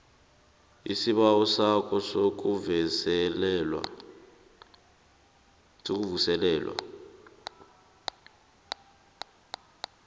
isibawo sakho sokuvuselelwa